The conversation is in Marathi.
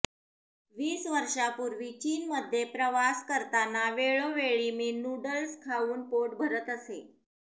वीस वर्षांपूर्वी चीनमध्ये प्रवास करताना वेळोवेळी मी नू़डल्स खाऊन पोट भरत असे